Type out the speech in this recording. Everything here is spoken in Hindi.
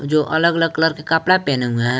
जो अलग अलग कलर के कपड़ा पहने हुए हैं।